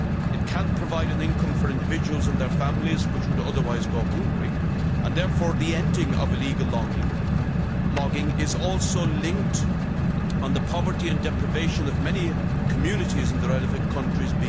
It can provide an income for individuals and their families who would otherwise go hungry, and therefore, ending illegal logging is also linked to ending the poverty and deprivation of many communities in the relevant countries.